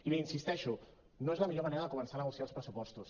i hi insisteixo no és la millor manera de començar a negociar els pressupostos